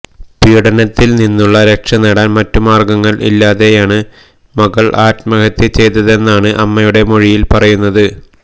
പീഡനത്തില് നിന്നും രക്ഷനേടാന് മറ്റുമാര്ഗങ്ങള് ഇല്ലാതെയാണ് മകള് ആത്മഹത്യ ചെയ്തതെന്നാണ് അമ്മയുടെ മൊഴിയില് പറയുന്നത്